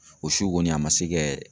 O su kɔni a ma se kɛ